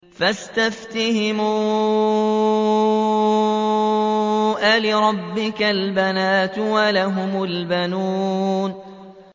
فَاسْتَفْتِهِمْ أَلِرَبِّكَ الْبَنَاتُ وَلَهُمُ الْبَنُونَ